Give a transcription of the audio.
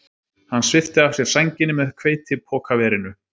Hann svipti af sér sænginni með hveitipokaverinu.